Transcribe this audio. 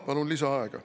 Palun lisaaega.